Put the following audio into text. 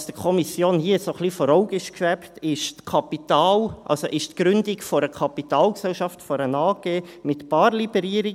Was der Kommission hier vor Augen schwebte, ist die Gründung einer Kapitalgesellschaft, einer AG, mit Barliberierung.